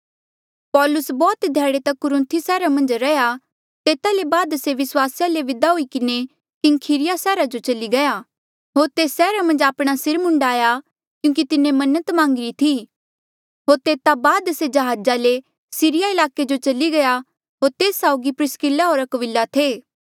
पौलुस बौह्त ध्याड़े तक कुरुन्थी सैहरा मन्झ रैंहयां तेता ले बाद से विस्वासिया ले विदा हुई किन्हें किंख्रिया सैहरा जो चली गया होर तेस सैहरा मन्झ आपणे सिर मुंडाया क्यूंकि तिन्हें मन्नत मांगी री थी होर तेता बाद से जहाजा ले सीरिया ईलाके जो चली गया होर तेस साउगी प्रिसकिल्ला होर अक्विला थे